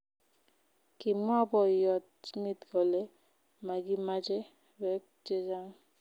Kimwa boiyot Smith kole,"Magimache beek chechang"